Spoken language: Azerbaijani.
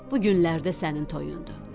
Bu günlərdə sənin toyundur.